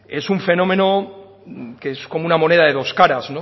es un fenómeno que es como una moneda de dos caras